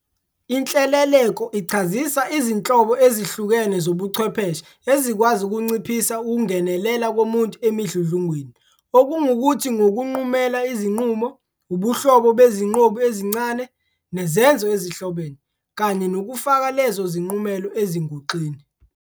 Inhleleleko ichazisa izinhlobo ezihlukene zobuchwepheshe ezikwazi ukunciphisa ukungenelela komuntu emidludlungweni, okungukuthi ngokunqumela izinqumo, ubuhlobo bezinqobu ezincane, nezenzo ezihlobene, kanye nokufaka lezo zinqumelo ezinguxeni.